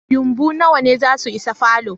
Yumbu nawa ne zasu isa falo?